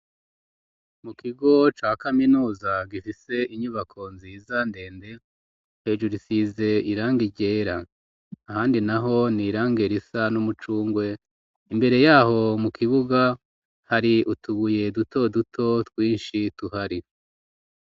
Mu kigo ca kaminuza gifise inyubako nziza ndende hejuru isize irangi ryera ahandi naho ni iranger isa n'umucungwe imbere yaho mu kibuga hari utubuye duto duto twinshi tuhari.